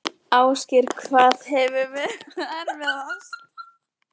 Ásgeir: Hvað hefur verið erfiðast?